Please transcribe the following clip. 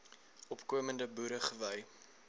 opkomende boere gewy